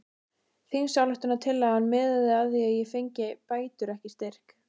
Þingsályktunartillagan miðaði að því að ég fengi bætur ekki styrk!